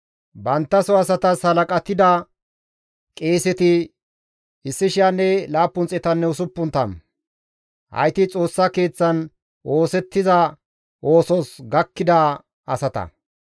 Banttaso asatas halaqatida qeeseti 1,760; hayti Xoossa Keeththan oosettiza oosos gakkida asata.